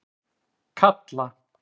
Kalla